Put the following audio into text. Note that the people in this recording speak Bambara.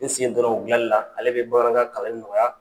N sen don na o gilani la ale bɛ bamanankan kalanli nɔgɔya.